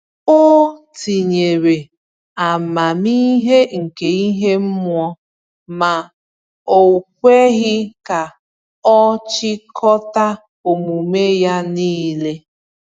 Ọ tinyere amamihe nke ihe mmụọ, ma o kweghị ka ọ chịkọta omume ya niile.